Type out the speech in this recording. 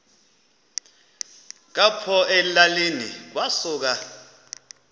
apho elalini kwasuka